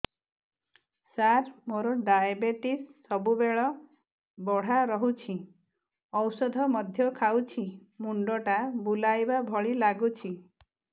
ସାର ମୋର ଡାଏବେଟିସ ସବୁବେଳ ବଢ଼ା ରହୁଛି ଔଷଧ ମଧ୍ୟ ଖାଉଛି ମୁଣ୍ଡ ଟା ବୁଲାଇବା ଭଳି ଲାଗୁଛି